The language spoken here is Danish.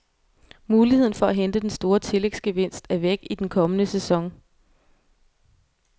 Muligheden for at hente den store tillægsgevinst er væk i den kommende sæson.